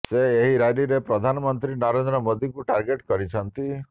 ସେ ଏହି ରାଲିରେ ପ୍ରଧାନମନ୍ତ୍ରୀ ନରେନ୍ଦ୍ର ମୋଦିଙ୍କୁ ଟାର୍ଗେଟ କରିଛନ୍ତି